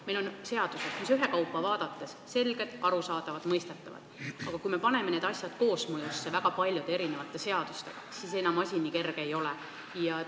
Meil on seadused, mis ühekaupa vaadates on selged, arusaadavad, mõistetavad, aga kui me paneme need koos mõjuma väga paljude teiste seadustega, siis enam asi nii selge ei ole.